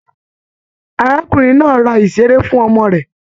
Arákùnrin náà rà iṣere fún ọmọ rẹ.